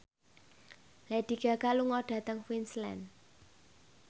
Lady Gaga lunga dhateng Queensland